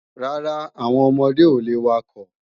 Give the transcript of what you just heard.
Rárá, àwọn ọmọdé ò le wakọ̀